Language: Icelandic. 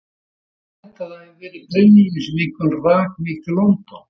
Ég held að það hafi verið brennivínið sem einkum rak mig til London.